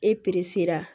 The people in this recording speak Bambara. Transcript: E sera